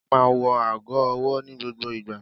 Olú máa ń wọ ago-ọwọ́ ní gbogbo ìgbà.